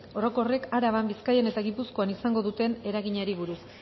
orokorrek araban bizkaian eta gipuzkoan izango duten eraginari buruz